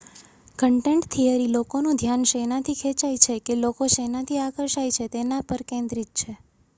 content theory લોકોનું ધ્યાન શેનાથી ખેંચાય છે કે લોકો શેનાથી આકર્ષાય છે તેના પર કેન્દ્રિત છે